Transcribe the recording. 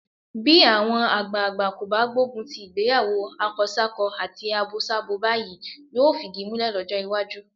Bí àwọn àgbàagbà kò bá gbógun ti ìgbéyàwó akọsákọ àti abosábo báyìí, yóò fìdí múlẹ̀ lọ́jọ́ iwájú.